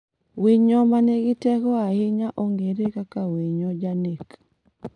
"Wonyo manigi teko ahinya ong'ere kaka "winyo janek".